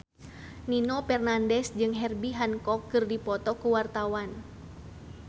Nino Fernandez jeung Herbie Hancock keur dipoto ku wartawan